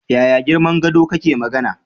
Yaya girman gado kake magana?